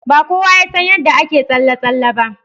Ba kowa ya san yadda ake tsalle tsalle ba.